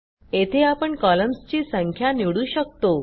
येथे आपण कॉलम्सची संख्या निवडू शकतो